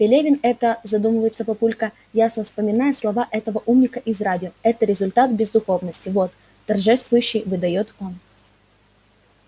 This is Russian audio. пелевин это задумывается папулька ясно вспоминая слова этого умника из радио это результат бездуховности вот торжествующе выдаёт он